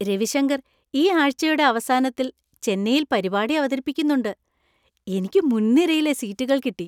രവിശങ്കർ ഈ ആഴ്ച യുടെ അവസാനത്തിൽ ചെന്നൈയിൽ പരിപാടി അവതരിപ്പിക്കുന്നുണ്ട്, എനിക്ക് മുൻനിരയിലെ സീറ്റുകൾ കിട്ടി !